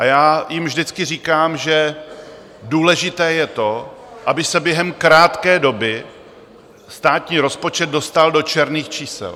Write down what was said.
A já jim vždycky říkám, že důležité je to, aby se během krátké doby státní rozpočet dostal do černých čísel.